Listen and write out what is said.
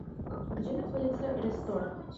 где находится ре стор